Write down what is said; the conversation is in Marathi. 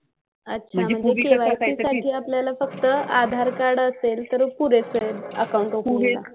अच्छा KYC साठी आपल्याला फक्त आधार कार्ड असेल तर पुरेसं आहे अकाउंट ओपन करायला.